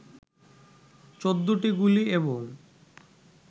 ১৪টি গুলি এবং